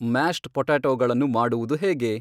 mashed ಪೊಟ್ಯಾಟೋಗಳನ್ನು ಮಾಡುವುದು ಹೇಗೆ